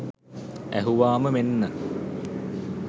ඇහුවාම මෙන්න